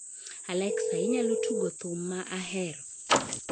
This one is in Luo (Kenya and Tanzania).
Alexa, inyalo tugo thum ma ahero